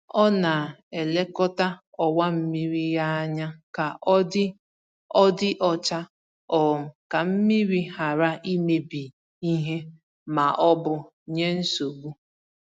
Ọ na-elekọta ọwa mmiri ya anya ka ọ dị ọ dị ọcha um ka mmiri ghara imebi ìhè ma ọ bụ nye nsogbu.